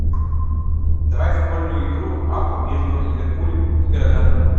давай футбольную игру апл между ливерпулем и горожанами